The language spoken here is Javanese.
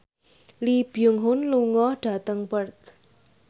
Lee Byung Hun lunga dhateng Perth